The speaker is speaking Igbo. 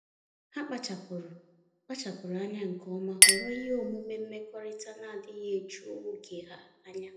Ha kpachapụrụ kpachapụrụ anya nke ọma họrọ ihe omume mmekọrịta na-adịghị eju oge ha anya.